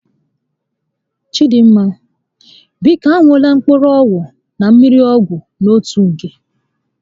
Chidinma, biko a ṅụla mkpụrụ ọgwụ na mmiri ọgwụ n'otu oge